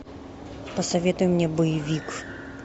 посоветуй мне боевик